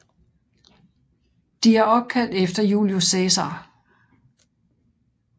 De er opkaldt efter Julius Cæsar